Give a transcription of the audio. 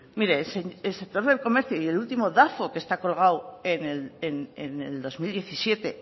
mire el sector del comercio y el último dafo que está colgado en el dos mil diecisiete